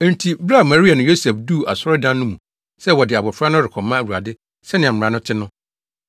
Enti bere a Maria ne Yosef duu asɔredan no mu sɛ wɔde abofra no rekɔma Awurade sɛnea mmara no te no,